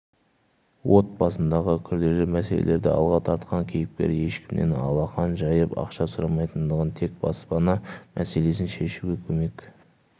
отбасындағы күрделі мәселелерді алға тартқан кейіпкер ешкімнен алақан жайып ақша сұрамайтындығын тек баспана мәселесін шешуге көмек